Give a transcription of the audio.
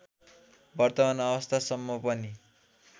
वर्तमान अवस्थासम्म पनि